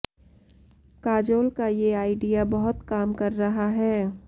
काजोल का ये आइडिया बहुत काम कर रहा है